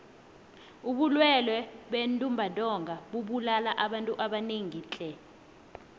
ubulwele bentumbantonga bubulala abantu abanengi tle